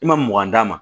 I ma mugan d'a ma